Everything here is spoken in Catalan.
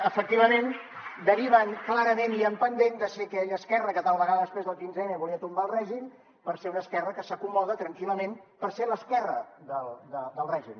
ment i en pendent de ser aquella esquerra que tal vegada després del quinze m volia tombar el règim per ser una esquerra que s’acomoda tranquil·lament per ser l’esquerra del règim